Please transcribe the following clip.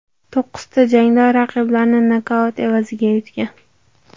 To‘qqizta jangda raqiblarini nokaut evaziga yutgan.